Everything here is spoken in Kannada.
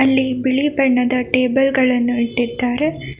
ಇಲ್ಲಿ ಬಿಳಿ ಬಣ್ಣದ ಟೇಬಲ್ ಗಳನ್ನು ಇಟ್ಟಿದ್ದಾರೆ.